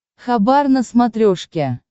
хабар на смотрешке